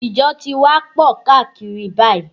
Ìjọ ti wá pọ̀ káàkiri báyìí